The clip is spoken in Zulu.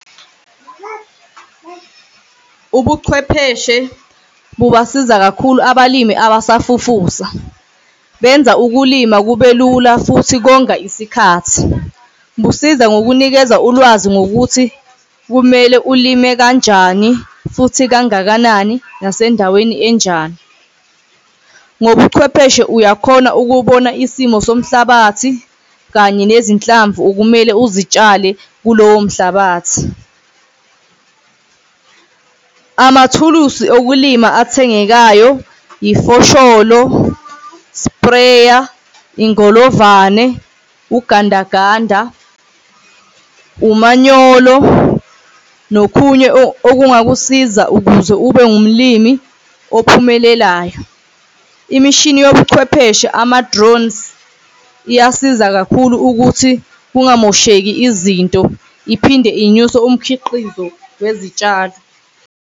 Ubuchwepheshe bungasiza kakhulu, abalimi abasafufusa benza ukulima kube lula futhi konga isikhathi busiza ngokunikeza ulwazi ngokuthi kumele ulime kanjani futhi kangakanani nasendaweni enjani. Ngobuchwepheshe uyakhona ukubona isimo somhlabathi kanye nezinhlamvu okumele uzitshale kulowo mhlabathi. Amathuluzi okulima athengekayo ifosholo, spreya, ingolovane, ugandaganda, umanyolo nokunye okungakusiza ukuze ube ngumlimi ophumelelayo. Imishini yobuchwepheshe ama-drones iyasiza kakhulu ukuthi kungamosheki izinto iphinde inyuse umkhiqizo wezitshalo.